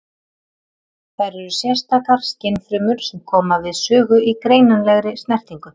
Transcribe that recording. Þær eru sérstakar skynfrumur sem koma við sögu í greinanlegri snertingu.